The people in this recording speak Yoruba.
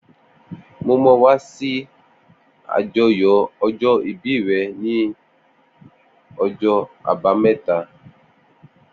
Mó mà wà si ibi ájọyọ̀ ọjọ ibíí rè ni ọjọ àbàámẹ̀tá